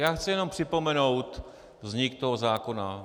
Já chci jenom připomenout vznik toho zákona.